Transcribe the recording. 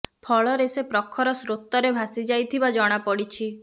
ଫଳରେ ସେ ପ୍ରଖର ସୋତ୍ରରେ ଭାସି ଯାଇଥିବା ଜଣା ପଡ଼ିଛି